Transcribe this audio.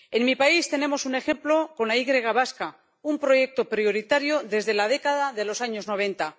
En mi país tenemos un ejemplo con la Y vasca, un proyecto prioritario desde la década de los años noventa.